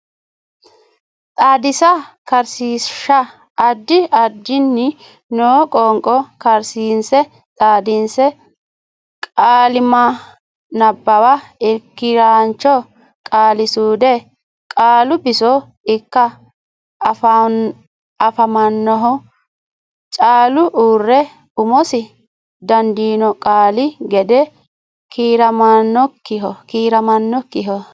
Xaadisa karsiishsha Addi addinni noo qoonqo kariinse xaadinse qaalimma nabbawa Irki raancho qaalisuude Qaalu biso ikke afamannoho callu uurre umosi dandiino qaali gede kiiramannokkiho.